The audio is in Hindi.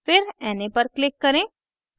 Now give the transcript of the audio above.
फिर na पर click करें